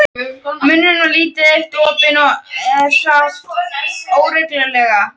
Munnurinn var lítið eitt opinn og hann hraut óreglulega.